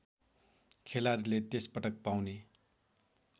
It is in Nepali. खेलाडीले त्यसपटक पाउने